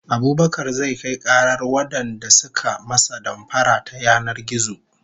Abubakar zai kai karar wadanda suka masa damfara ta yanar gizo